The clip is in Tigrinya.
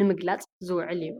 ንምግላጽ ዝውዕል እዩ።